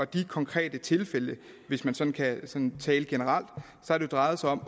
de konkrete tilfælde hvis man sådan kan tale generelt har det drejet sig om